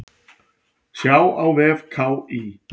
Sjá á vef KÍ.